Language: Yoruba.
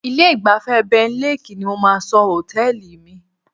Ilé-ìgbafẹ́ Benlek ni mo máa sọ hòtẹ́ẹ̀lì mi.